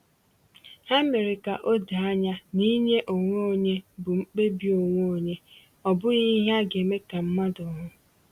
Ha mere ka o doo anya na inye onwe onye bụ mkpebi onwe onye, ọ bụghị ihe a ga-eme ka mmadụ hụ.